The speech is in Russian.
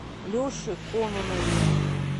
леше кононове